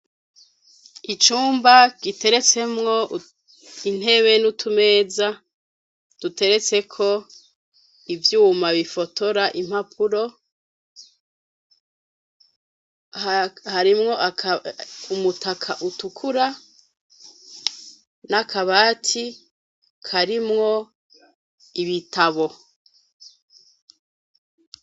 Icumba giteretsemwo intebe n'utumeza, duteretseko ivyuma bifotora impapuro, harimwo umutaka utukura n'akabati, karimwo ibitabo.